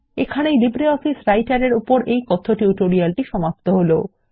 এখানেই LibreOffice writer এর এই কথ্য টিউটোরিয়ালটি সমাপ্ত হলো